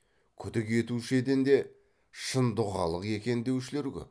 күдік етушеден де шын дұғалық екен деушілер көп